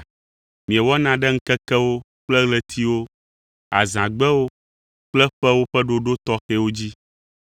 Miewɔna ɖe ŋkekewo kple ɣletiwo, azãgbewo kple ƒewo ƒe ɖoɖo tɔxɛwo dzi.